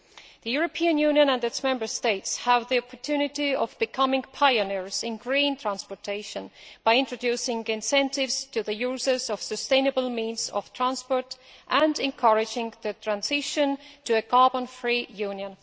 The European Union and its Member States have the opportunity of becoming pioneers in green transportation by introducing incentives to the users of sustainable means of transport, and encouraging the transition to a carbon free Union.